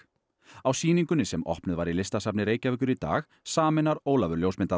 á sýningunni sem opnuð var í Listasafni Reykjavíkur í dag sameinar Ólafur